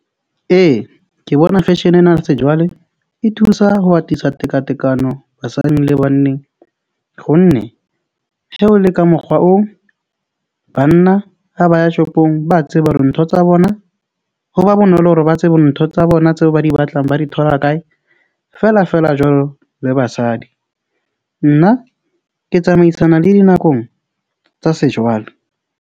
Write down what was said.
Ee, ke bona fashion-e ena se jwale e thusa ho atisa tekatekano basadi le banneng go nne ho le ka mokgwa oo. Banna ha ba ya shopong, ba tseba hore ntho tsa bona ho ba bonolo hore ba tsebe ntho tsa bona tseo ba di batlang ba di thola kae feela feela jwalo le basadi. Nna ke tsamaisana le dinakong tsa sejwale.